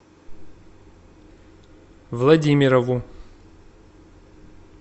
владимирову